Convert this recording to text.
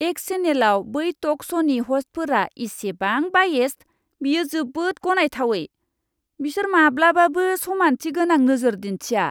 एक्स चेनेलाव बै टक श'नि ह'स्टफोरा इसेबां बायेस्ड, बेयो जोबोद गनायथावै। बिसोर माब्लाबाबो समान्थि गोनां नोजोर दिन्थिया!